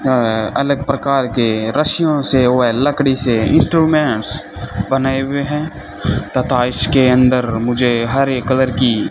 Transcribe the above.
अ अलग प्रकार के रस्सियों से व लकड़ी से इंस्ट्रूमेंट्स बनाए हुए हैं तथा इसके अंदर मुझे हरे कलर की --